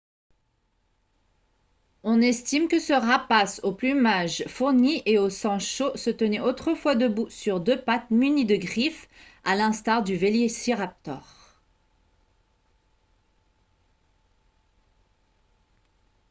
on estime que ce rapace au plumage fourni et au sang chaud se tenait autrefois debout sur deux pattes munies de griffes à l'instar du vélociraptor